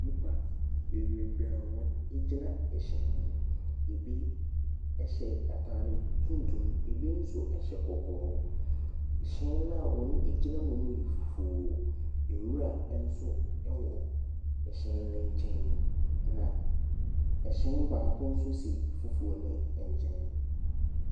Nnipa bebrebee a wɔgyina hyɛn mu. Ebi hyɛ atare tuntum, ebi nso hyɛ kɔkɔɔ. Hyɛn no a wɔgyina mu no yɛ fufuo. Nwura nso wɔ hyɛn no nkyɛn, na hyɛn baako nso si fufuo no nkyɛn mu.